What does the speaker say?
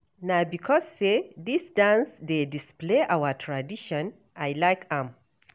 Na because sey dis dance dey display our tradition I like am.